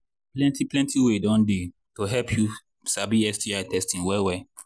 plenty plenty way don they to help you sabi sti testing well well